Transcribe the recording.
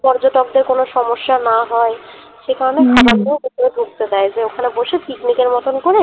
পর্যটকদের কোন সমস্যা না হয় সেকারণে খাবার নিয়েও ভিতরে ঢুকতে দেয় যে ওখানে বসে picnic এর মতন করে